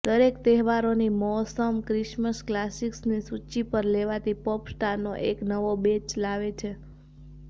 દરેક તહેવારોની મોસમ ક્રિસમસ ક્લાસિક્સની સૂચિ પર લેવાતી પોપ સ્ટારનો એક નવો બેચ લાવે છે